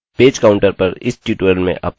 page counter पर इस tutorial में आपका स्वागत है